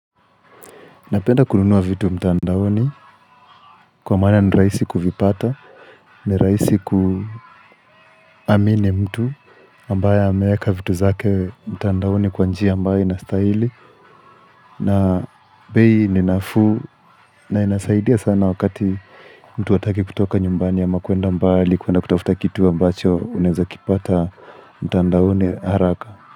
Napenda kununua vitu mtandaoni kwa maana ni rahisi kuvipata, ni rahisi kuamini mtu ambaye ameeka vitu zake mtandaoni kwa njia ambayo inastahili na bei ni nafuu na inasaidia sana wakati mtu hataki kutoka nyumbani ama kuenda mbali kuenda kutafuta kitu ambacho unaweza kipata mtandaoni haraka.